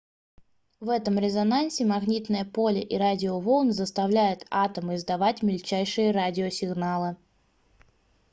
в этом резонансе магнитное поле и радиоволны заставляют атомы издавать мельчайшие радиосигналы